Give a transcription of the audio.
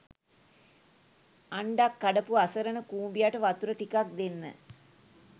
අන්ඩක් කඩපු අසරණ කුඹියට වතුර ටිකක් දෙන්න